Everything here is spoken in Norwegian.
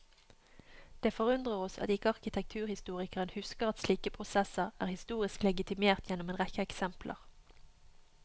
Det forundrer oss at ikke arkitekturhistorikeren husker at slike prosesser er historisk legitimert gjennom en rekke eksempler.